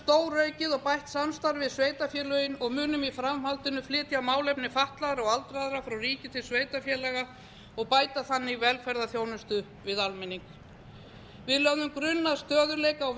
stóraukið og bætt samstarf við sveitarfélögin og munum í framhaldinu flytja málefni fatlaðra og aldraðra frá ríki til sveitarfélaga og bæta þannig velferðarþjónustu við almenning við lögðum grunn að stöðugleika á